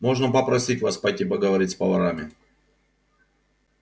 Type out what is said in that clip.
можно попросить вас пойти поговорить с поварами